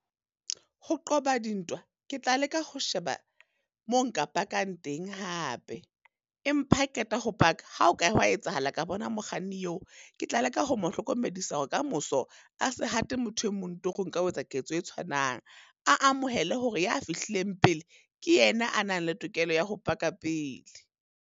Ho qoba dintwa, ke tla leka ho sheba moo nka bakang teng hape. Empa ha ke qeta ho paka, ha ho ka hwa etsahala ka bona mokganni eo, ke tla leka ho mo hlokomedisa hore ka moso, a se hate motho e mong torong ka ho etsa ketso e tshwanang. A amohele hore ya fihlileng pele, ke yena a nang le tokelo ya ho paka pele.